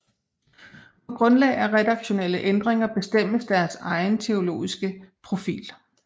På grundlag af redaktionelle ændringer bestemmes deres egen teologiske profil